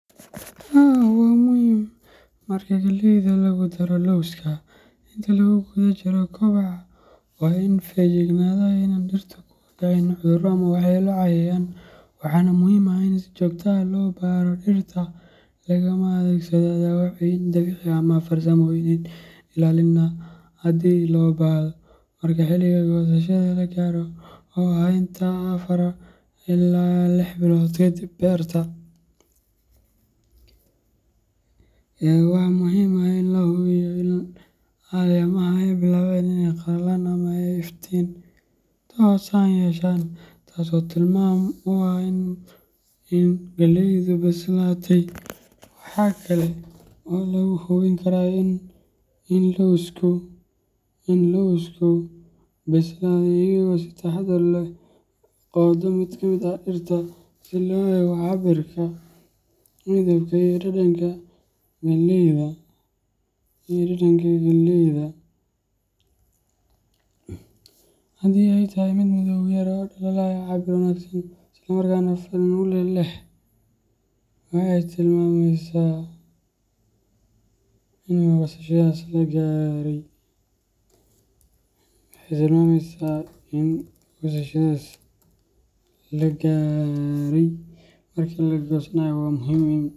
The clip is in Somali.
Haa waa muhim marka galleyda lagu daro lawska . Inta lagu guda jiro kobaca, waa in la feejignaadaa in aanay dhirtu ku dhacayn cudurro ama waxyeello cayayaan, waxaana muhiim ah in si joogto ah loo baaro dhirta lana adeegsado daawooyin dabiici ah ama farsamooyin ilaalin ah haddii loo baahdo. Marka xilliga goosashada la gaaro, oo ah inta badan afaar ilaa lix bilood kadib beerta, waxaa muhiim ah in la hubiyo in caleemaha ay bilaabeen inay qalalaan ama ay iftiin toosan yeeshaan, taasoo tilmaam u ah in galleyda bislaatay. Waxaa kale oo lagu hubin karaa in galleyda bislaatay iyadoo si taxaddar leh loo qodo mid ka mid ah dhirta, si loo eego cabbirka, midabka, iyo dhadhanka galleyda. Haddii ay tahay mid madow yar oo dhalaalaya, cabbir wanaagsan leh, isla markaana dhadhan fiican leh, waxay tilmaamaysaa in goosashada la gaaray. Marka la goosanayo, waa muhiim in.